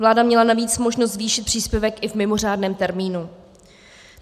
Vláda měla navíc možnost zvýšit příspěvek i v mimořádném termínu.